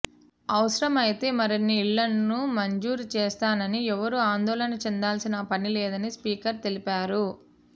అవసరమైతే మరిన్ని ఇండ్లను మంజూరు చేస్తానని ఎవరు ఆందోళన చెందాల్సిన పనిలేదని స్పీకర్ తెలిపారు